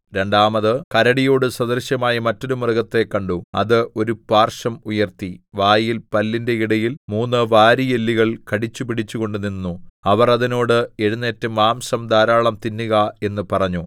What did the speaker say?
രണ്ടാമത് കരടിയോടു സദൃശമായ മറ്റൊരു മൃഗത്തെ കണ്ടു അത് ഒരു പാർശ്വം ഉയർത്തി വായിൽ പല്ലിന്റെ ഇടയിൽ മൂന്ന് വാരിയെല്ലുകൾ കടിച്ചുപിടിച്ചുകൊണ്ട് നിന്നു അവർ അതിനോട് എഴുന്നേറ്റ് മാംസം ധാരാളം തിന്നുക എന്ന് പറഞ്ഞു